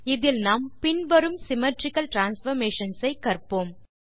இதில் நாம் பின் வரும் சிம்மெட்ரிக்கல் டிரான்ஸ்பார்மேஷன்ஸ் ஐ கற்போம்